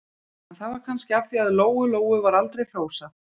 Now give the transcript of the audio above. En það var kannski af því að Lóu-Lóu var aldrei hrósað.